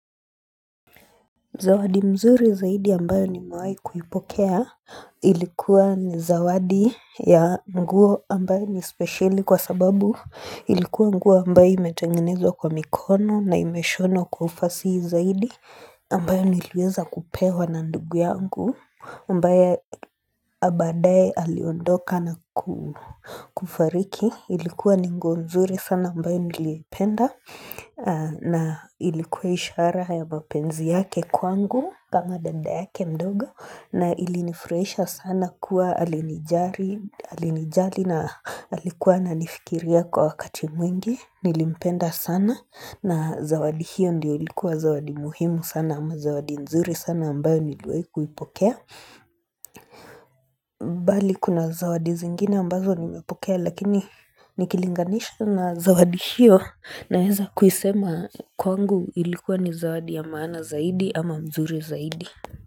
Zawadi mzuri zaidi ambayo nimawai kuipokea ilikuwa ni zawadi ya nguo ambayo ni speciali kwa sababu ilikuwa nguo ambayo imetengenezwa kwa mikono na imeshonwa kwa ufasi zaidi ambayo niliweza kupewa na ndugu yangu Ambaya badaye aliondoka na kufariki. Ilikuwa ni nguo nzuri sana ambayo niliipenda na ilikuwa ishara ya mapenzi yake kwangu kama dada yake mdogo na ilinifurahisha sana kuwa alinijali Alinijali na alikuwa ananifikiria kwa wakati mwingi. Nilimpenda sana na zawadi hiyo ndio ilikuwa zawadi muhimu sana ama zawadi nzuri sana ambayo niliwai kuipokea Bali kuna zawadi zingine ambazo nimepokea lakini nikilinganisha na zawadi hiyo naweza kuisema kwangu ilikuwa ni zawadi ya maana zaidi ama mzuri zaidi.